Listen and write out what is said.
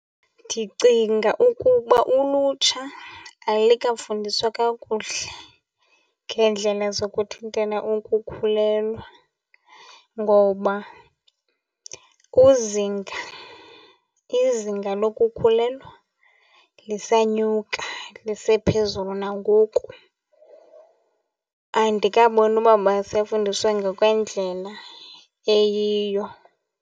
Ndicinga ukuba ulutsha alikafundiswa kakuhle ngeendlela zokuthintela ukukhulelwa ngoba kuzinga, izinga lokukhulelwa lisanyuka, lisephezulu nangoku. Andikaboni uba basafundiswa ngokwendlela eyiyo.